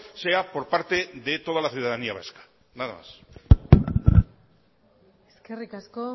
sea por parte de toda la ciudadanía vasca nada más eskerrik asko